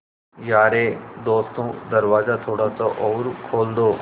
यारे दोस्तों दरवाज़ा थोड़ा सा और खोल दो